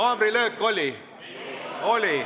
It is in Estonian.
Haamrilöök oli.